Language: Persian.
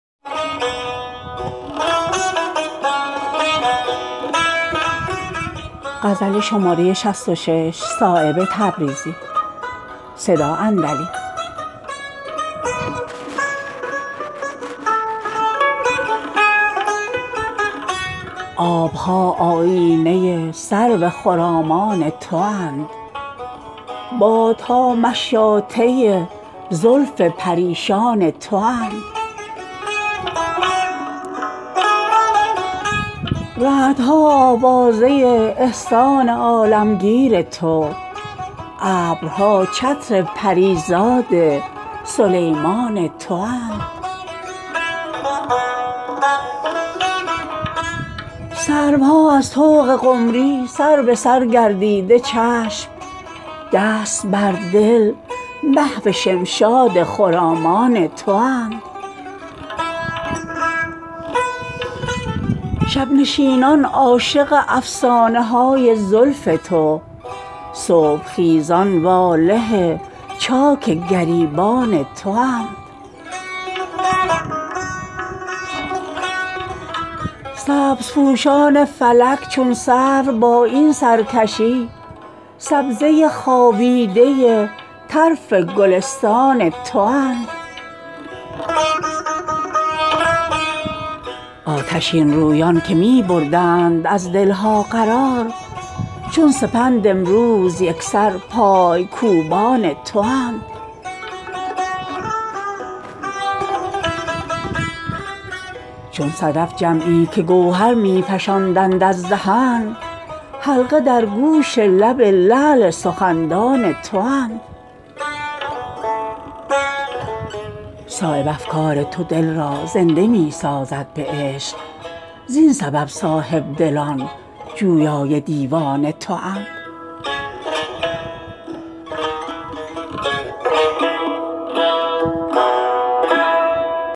آبها آیینه سرو خرامان تواند بادها مشاطه زلف پریشان تواند رعدها آوازه احسان عالمگیر تو ابرها چتر پریزاد سلیمان تواند شاخ گلها دست گلچین بهارستان تو غنچه ها از زله بندان سر خوان تواند سروها از طوق قمری سربسر گردیده چشم دست بر دل محو شمشاد خرامان تواند قدسیان پروانه شمع جهان افروز تو آسمانها طوطیان شکرستان تواند شب نشینان عاشق افسانه های زلف تو صبح خیزان واله چاک گریبان تواند سبزپوشان فلک چون سرو با این سرکشی سبزه خوابیده طرف گلستان تواند نافه های مشک کز سودا بیابانی شدند از هواخواهان زلف عنبر افشان تواند بی نیازانی که بر فردوس دست افشانده اند در هوای چیدن سیب زنخدان تواند از گداز عشق دلهایی که نازک گشته اند پرده فانوس شمع پاکدامان تواند سینه هایی کز خس و خار علایق پاک شد شاهراه جلوه سرو خرامان تواند آتشین رویان که می بردند از دلها قرار چون سپند امروز یکسر پایکوبان تواند چون صدف جمعی که گوهر می فشاندند از دهن حلقه در گوش لب لعل سخندان تواند خوش خرامانی که زیر پا نکردندی نگاه همچو نقش پا سراسر محو جولان تواند مغزهایی کز پریشانی به خود پیچیده اند گردباد دامن پاک بیابان تواند صایب افکار تو دل را زنده می سازد به عشق زین سبب صاحبدلان جویای دیوان تواند